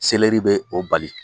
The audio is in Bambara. Selɛri bɛ o bali.